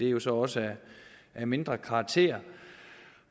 er så også af mindre betydelig karakter